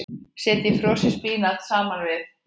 Setjið frosið spínat saman við.